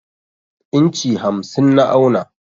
inci hamsin na auna.